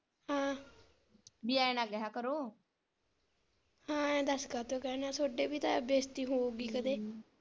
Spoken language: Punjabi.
ਹਮ ਬੀ ਐਂ ਨਾ ਕਿਹਾ ਕਰੋ ਇਹ ਦਸ ਕਾਹਤੋਂ ਕਹਿੰਦੇ ਆ ਥੋੜੇ ਵੀ ਤਾਂ ਬੇਸਤੀ ਹੋਊਗੀ ਕਦੇ।